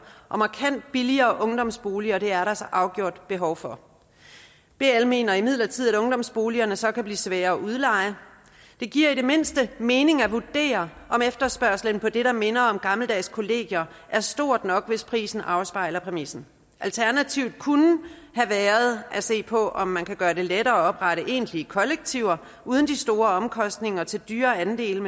og markant billigere ungdomsboliger er der så afgjort behov for bl mener imidlertid at ungdomsboligerne så kan blive svære at udleje det giver i det mindste mening at vurdere om efterspørgslen på det der minder om gammeldags kollegier er stor nok hvis prisen afspejler præmissen alternativet kunne have været at se på om man kan gøre det lettere at oprette egentlige kollektiver uden de store omkostninger til dyre andele